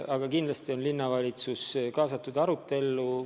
Aga kindlasti on linnavalitsus arutellu kaasatud.